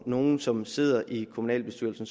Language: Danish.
nogle som sidder i kommunalbestyrelsen